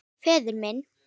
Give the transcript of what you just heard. Förum inn.